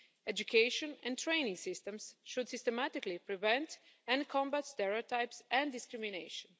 Education and training systems should systematically prevent and combat stereotypes and discrimination.